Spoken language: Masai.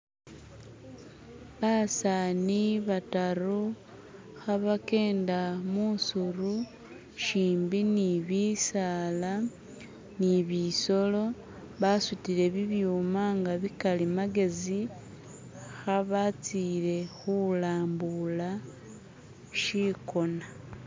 Basaani badatu ka bajenda mwisiru shimbi ni bisaala nibisoolo basudire bibyuuma nga bikalimagezi ka bazire kulambula chigoona